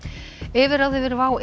yfirráð yfir WOW